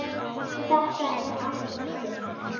Þetta er allt og sumt